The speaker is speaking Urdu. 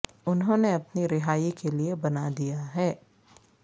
انہوں نے اپنی رہائی کے لئے بنا دیا ہے